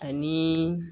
Ani